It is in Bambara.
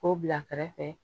K'o bila kɛrɛfɛ